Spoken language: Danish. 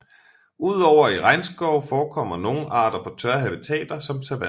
Ud over i regnskove forekommer nogle arter på tørre habitater som savanner